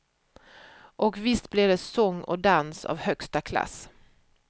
Och visst blir det sång och dans av högsta klass.